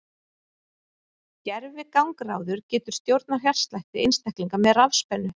Gervigangráður getur stjórnað hjartslætti einstaklinga með rafspennu.